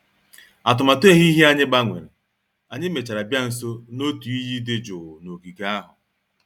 Atụmatụ ehihie anyị gbanwere, anyị mèchàrà bịa nso n'otu iyi dị jụụ n'ogige ahụ